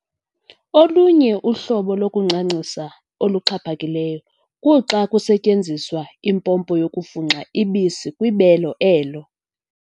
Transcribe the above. Olunye uhlobo lokuncancisa oluxhaphakileyo kuxa kusetyenziswa impompo yokufunxa ubisi kwibele elo.